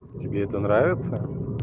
тебе это нравится